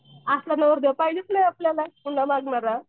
असला नवरदेव पाहिजेच नाही आपल्याला हुंडा मागणारा.